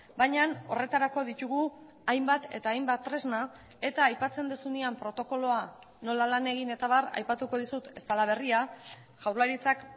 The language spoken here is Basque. baina horretarako ditugu hainbat eta hainbat tresna eta aipatzen duzunean protokoloa nola lan egin eta abar aipatuko dizut ez dela berria jaurlaritzak